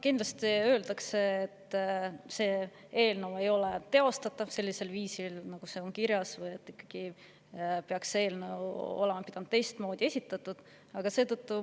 Kindlasti öeldakse, et see eelnõu ei ole teostatav sellisel viisil, nagu kirjas on, ja et see oleks pidanud olema esitatud teistmoodi.